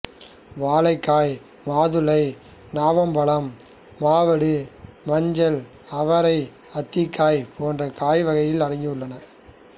வாழைக்காய் மாதுளைநாவல் பழம் மாவடு மஞ்சள் அவரை அத்திக்காய் போன்ற காய் வகைகளில் அடங்கியுள்ளது